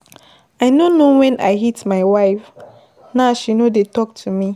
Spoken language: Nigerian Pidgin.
I no know when I hit my wife. Now, she no dey talk to me.